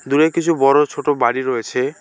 দূরে কিছু বড়ো ছোট বাড়ি রয়েছে।